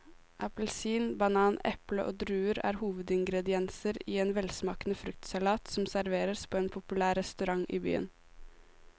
Appelsin, banan, eple og druer er hovedingredienser i en velsmakende fruktsalat som serveres på en populær restaurant i byen.